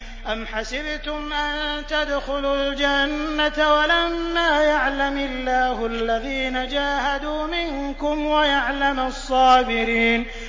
أَمْ حَسِبْتُمْ أَن تَدْخُلُوا الْجَنَّةَ وَلَمَّا يَعْلَمِ اللَّهُ الَّذِينَ جَاهَدُوا مِنكُمْ وَيَعْلَمَ الصَّابِرِينَ